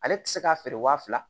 Ale ti se k'a feere wa fila